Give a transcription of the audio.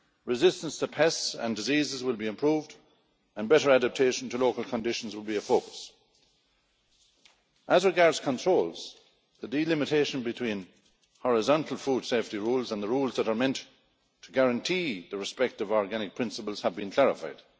Resistance to pests and diseases will be improved and better adaptation to local conditions will be a focus. As regards controls, the delimitation between horizontal food safety rules and the rules that are meant to guarantee the respect of organic principles have been clarified.